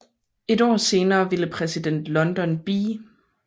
Et år senere ville præsident Lyndon B